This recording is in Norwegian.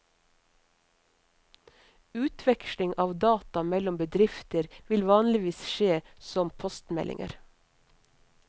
Utveksling av data mellom bedrifter vil vanligvis skje som postmeldinger.